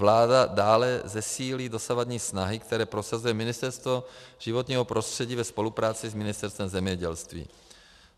Vláda dále zesílí dosavadní snahy, které prosazuje Ministerstvo životního prostředí ve spolupráci s Ministerstvem zemědělství.